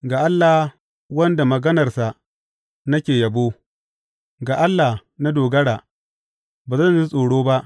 Ga Allah wanda maganarsa nake yabo ga Allah na dogara; ba zan ji tsoro ba.